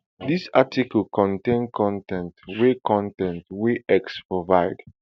dis article contain con ten t wey con ten t wey x provide